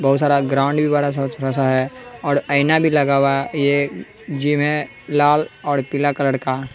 बहुत सारा ग्राउंड भी बड़ा सा छोटा सा है और आईना भी लगा हुआ है ये जिम है लाल और पीला कलर का --